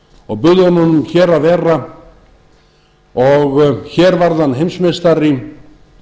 og buðum honum hér að vera og hér varð hann heimsmeistari